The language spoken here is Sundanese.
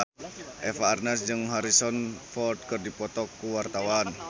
Eva Arnaz jeung Harrison Ford keur dipoto ku wartawan